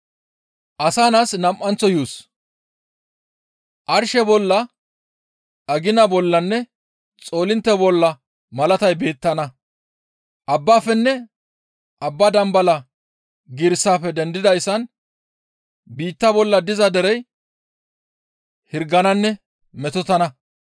«Arshe bolla, agina bollanne xoolintte bolla malatay beettana; abbaafenne abba dambala giirissafe dendidayssan biitta bolla diza derey hirgananne metotana.